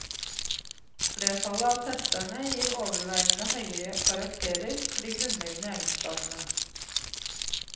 Flertallet av testerne gir overveiende høye karakterer for de grunnleggende egenskapene.